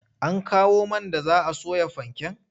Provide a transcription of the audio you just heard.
An kawo man da za a soya fanken?